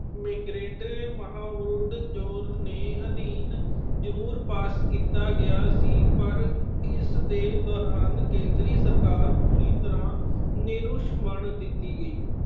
ਨੇ ਅਧੀਨ ਜਰੂਰ pass ਕੀਤਾ ਗਿਆ ਸੀ ਪਰ ਇਸ ਦੇ ਦੌਰਾਨ ਕੇਂਦਰੀ ਸਰਕਾਰ ਪੂਰੀ ਤਰ੍ਹਾਂ ਦਿੱਤੀ ਗਈ।